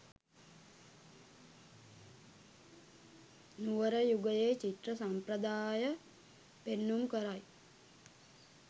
නුවර යුගයේ චිත්‍ර සම්ප්‍රදාය පෙන්නුම් කරයි.